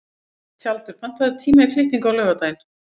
Tjaldur, pantaðu tíma í klippingu á laugardaginn.